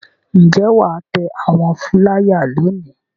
Ǹjẹ́ wà á tẹ àwọn fúláyà lónìí?